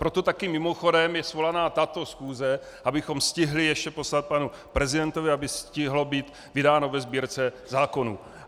Proto taky mimochodem je svolána tato schůze, abychom stihli ještě poslat panu prezidentovi, aby stihlo být vydáno ve Sbírce zákonů.